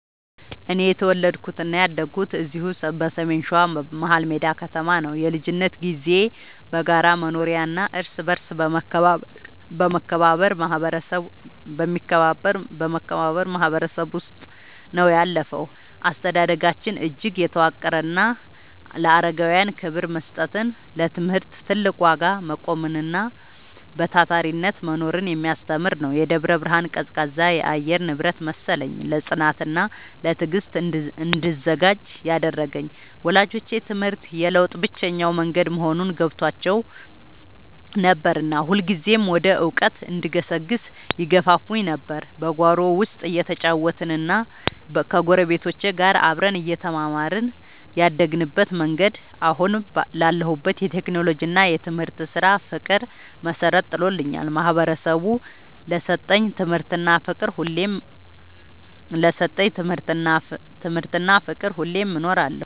እኔ የተወለድኩትና ያደግኩት እዚሁ በሰሜን ሸዋ፣ መሀልሜዳ ከተማ ነው። የልጅነት ጊዜዬ በጋራ መኖሪያና እርስ በርስ በመከባበር ማህበረሰብ ውስጥ ነው ያለፈው። አስተዳደጋችን እጅግ የተዋቀረና ለአረጋውያን ክብር መስጠትን፣ ለትምህርት ትልቅ ዋጋ መቆምንና በታታሪነት መኖርን የሚያስተምር ነበር። የደብረ ብርሃን ቀዝቃዛ የአየር ንብረት መሰለኝ፣ ለጽናትና ለትዕግስት እንድዘጋጅ ያደረገኝ። ወላጆቼ ትምህርት የለውጥ ብቸኛው መንገድ መሆኑን ገብቷቸው ነበርና ሁልጊዜም ወደ እውቀት እንድገሰግስ ይገፋፉኝ ነበር። በጓሮ ውስጥ እየተጫወትንና ከጎረቤቶች ጋር አብረን እየተማርን ያደግንበት መንገድ፣ አሁን ላለሁበት የቴክኖሎጂና የትምህርት ስራ ፍቅር መሰረት ጥሎልኛል። ማህበረሰቡ ለሰጠኝ ትምህርትና ፍቅር ሁሌም እኖራለሁ።